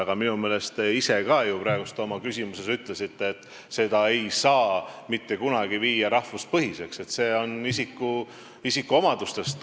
Aga minu meelest te ise ka oma praeguses küsimuses ütlesite, et seda ei saa mitte kunagi viia rahvuspõhiseks, see tuleneb isikuomadustest.